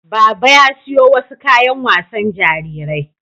Baba ya siyo wasu kayan wasan jarirai